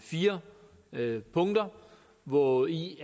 fire punkter hvori